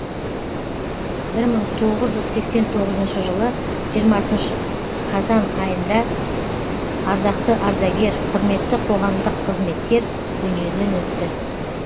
бір мың тоғыз жүз сексен тоғызыншы жылы жиырмасыншы қазан айында ардақты ардагер құрметті қоғамдық қызметкер дүниеден өтті